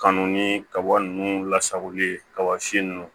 Kanu ni kaba ninnu lasagoli kaba si nunnu